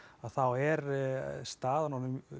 þá er staðan orðin